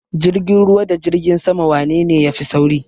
Jirgin ruwa da jirgin sama wanene ya fi sauri?